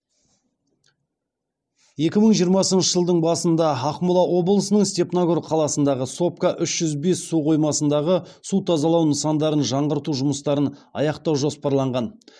екі мың жиырмасыншы жылдың басында ақмола облысының степногор қаласындағы сопка үш жүз бес су қоймасындағы су тазалау нысандарын жаңғырту жұмыстарын аяқтау жоспарланған